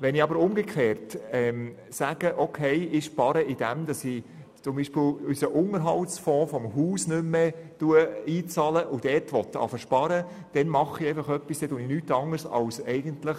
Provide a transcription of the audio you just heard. Wenn ich jedoch sparen will, indem ich nicht mehr in den Unterhaltsfonds des Hauses einbezahle, dann mache ich nichts anderes, als anfallende